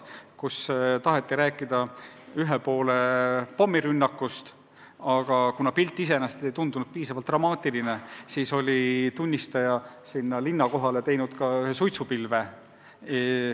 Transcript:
Jutt oli ühe poole pommirünnakust, aga kuna pilt iseenesest ei tundunud piisavalt dramaatiline, siis oli sinna linna kohale tehtud ka üks suitsupilv.